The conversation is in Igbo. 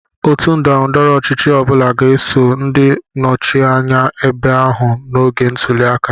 Otu ndọrọ ndọrọ ọchịchị ọ bụla ga-eso ndị nnọchi anya ebe ahụ n'oge ntuli aka.